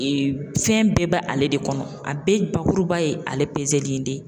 fɛn bɛɛ ba ale de kɔnɔ a bɛɛ bakuruba ye ale pezeli in de ye.